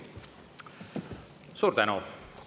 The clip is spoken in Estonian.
Suur tänu!